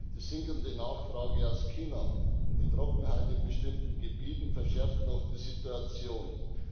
Die sinkende Nachfrage aus China und die Trockenheit in bestimmten Gebieten verschärft die Situation noch.